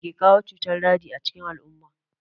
Mai ke kawo cutar daji a cikin al'umma?